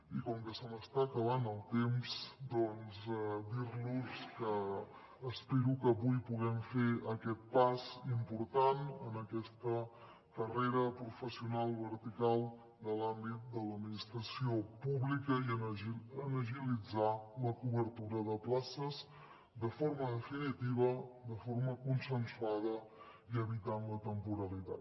i com que se m’està acabant el temps doncs dir los que espero que avui puguem fer aquest pas important en aquesta carrera professional vertical de l’àmbit de l’administració pública i agilitzar la cobertura de places de forma definitiva de forma consensuada i evitant la temporalitat